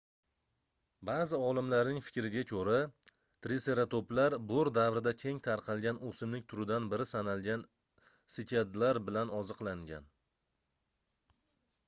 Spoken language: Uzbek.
baʼzi olimlarning fikriga koʻra triseratoplar boʻr davrida keng tarqalgan oʻsimlik turidan biri sanalgan sikadlar bilan oziqlangan